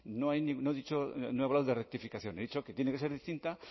no he hablado de rectificación he dicho que tiene que ser distinta